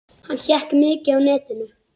Hann hékk mikið á netinu.